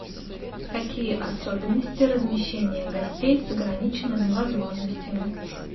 какие особенности размещения гостей с ограниченными возможностями